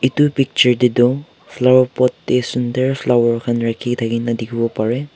itu picture te toh flower pot te sundur flower khan rakhi thaki na dikhibole pare.